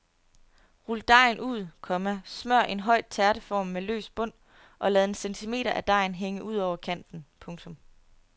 Rul dejen ud, komma smør en høj tærteform med løs bund og lad en centimeter af dejen hænge ud over kanten. punktum